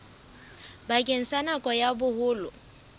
bakeng sa nako ya boholo